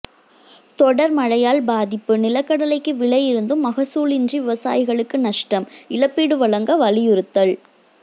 தொடர் மழையால் பாதிப்பு நிலக்கடலைக்கு விலை இருந்தும் மகசூலின்றி விவசாயிகளுக்கு நஷ்டம் இழப்பீடு வழங்க வலியுறுத்தல்